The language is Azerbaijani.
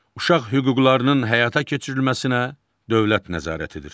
Uşaq hüquqlarının həyata keçirilməsinə dövlət nəzarət edir.